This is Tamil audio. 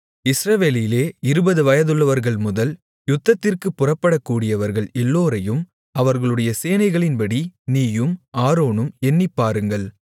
இஸ்ரவேலிலே இருபது வயதுள்ளவர்கள்முதல் யுத்தத்திற்குப் புறப்படக்கூடியவர்கள் எல்லோரையும் அவர்களுடைய சேனைகளின்படி நீயும் ஆரோனும் எண்ணிப்பாருங்கள்